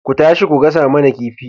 Ku tashi ku gasa mana kifi